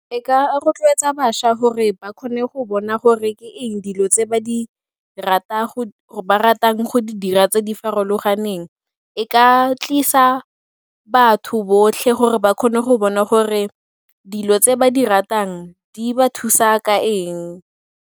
E ka rotloetsa bašwa gore ba kgone go bona gore ke eng dilo tse ba ratang go di dira tse di farologaneng, e ka tlisa batho botlhe gore ba kgone go bona gore dilo tse ba di ratang di ba thusa ka eng.